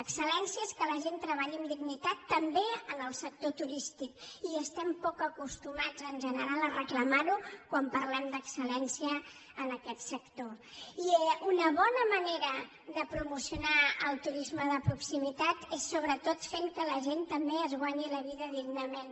excel·lència és que la gent treballi amb dignitat també en el sector turístic i estem poc acostumats en general a reclamar ho quan parlem d’excelnera de promocionar el turisme de proximitat és sobretot fent que la gent també es guanyi la vida dignament